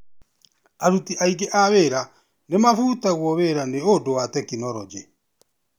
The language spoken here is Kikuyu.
Aruti aingĩ a wĩra nĩmafutĩtwo wĩra nĩ ũndũ wa tekinorojĩ.